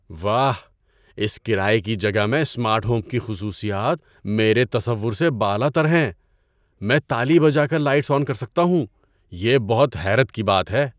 واہ، اس کرایے کی جگہ میں سمارٹ ہوم کی خصوصیات میرے تصور سے بالاتر ہیں۔ میں تالی بجا کر لائٹس آن کر سکتا ہوں، یہ بہت حیرت کی بات ہے!